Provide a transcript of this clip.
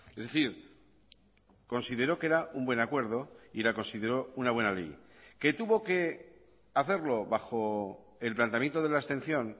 es decir consideró que era un buen acuerdo y la consideró una buena ley que tuvo que hacerlo bajo el planteamiento de la abstención